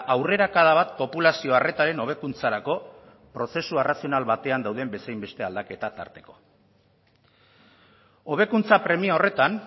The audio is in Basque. aurrerakada bat populazio arretaren hobekuntzarako prozesu arrazional batean dauden bezain beste aldaketa tarteko hobekuntza premia horretan